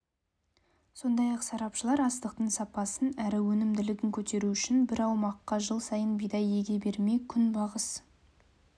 сондай-ақ сарапшылар астықтың сапасын әрі өнімділігін көтеру үшін бір аумаққа жыл сайын бидай еге бермей күнбағыс